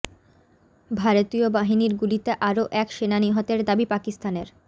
ভারতীয় বাহিনীর গুলিতে আরও এক সেনা নিহতের দাবি পাকিস্তানের